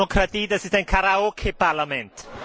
Das ist nicht Demokratie, das ist ein Karaoke Parlament!